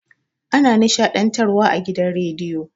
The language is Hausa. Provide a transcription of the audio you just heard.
Ana nishaɗntar wa a gidan radiyo